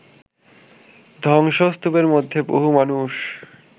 ধ্বংসস্তুপের মধ্যে বহু মানুষ